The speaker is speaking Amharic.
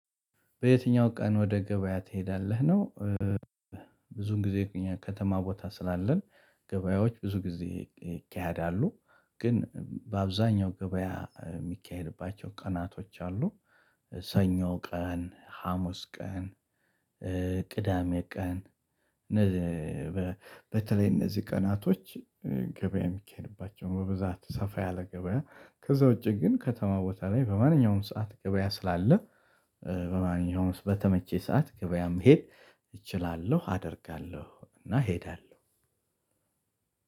በየትኛው ቀን ወደ ገበያ ትሄዳለህ ነው? ብዙን ጊዜ ከተማ ቦታ ስላለን ገበያዎች ብዙ ጊዜ ይካሄዳሉ። ግን በአብዛኛው ገበያ የሚካሄድባቸው ቀናቶች አሉ። ሰኞ ቀን ሀሙስ ቀን ቅዳሜ ቀን። በተለይ እነዚህ ቀናቶች ገበያ የሚካሄድባቸው በብዛት ሰፋ ያለ ገበያ ከዛ ውጪ ግን ከተማ ቦታ ላይ በማንኛውም ሰዓት ገበያ ስላለ። በማንኛውም ውስጥ በተመቸ ሰዓት ገበያም መሄድ እችላለሁ አደርጋለሁ እና እሄዳለሁ።